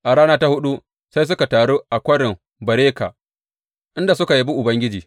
A rana ta huɗu sai suka taru a Kwarin Beraka, inda suka yabi Ubangiji.